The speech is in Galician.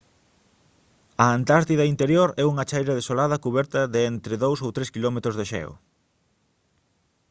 a antártida interior é unha chaira desolada cuberta de entre 2 ou 3 quilómetros de xeo